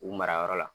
U mara yɔrɔ la